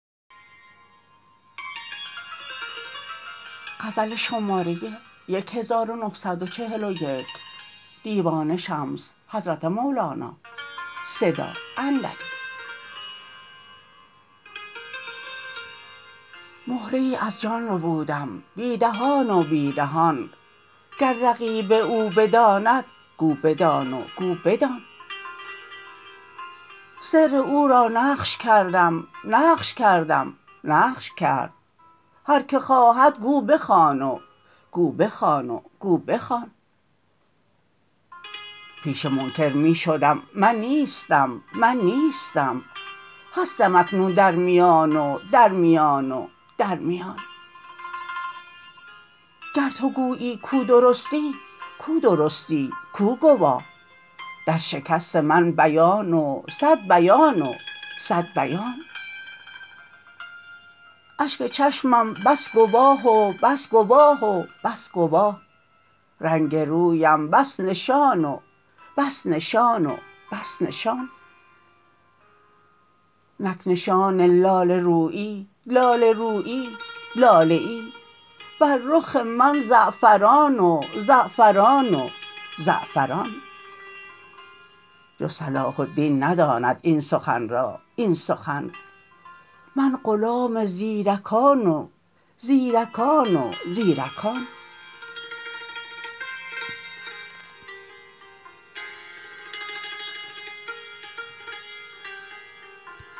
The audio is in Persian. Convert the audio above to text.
مهره ای از جان ربودم بی دهان و بی دهان گر رقیب او بداند گو بدان و گو بدان سر او را نقش کردم نقش کردم نقش کرد هر که خواهد گو بخوان و گو بخوان و گو بخوان پیش منکر می شدم من نیستم من نیستم هستم اکنون در میان و در میان و در میان گر تو گویی کو درستی کو درستی کو گواه در شکست من بیان و صد بیان و صد بیان اشک چشمم بس گواه و بس گواه و بس گواه رنگ رویم بس نشان و بس نشان و بس نشان نک نشان لاله رویی لاله رویی لاله ای بر رخ من زعفران و زعفران و زعفران جز صلاح الدین نداند این سخن را این سخن من غلام زیرکان و زیرکان و زیرکان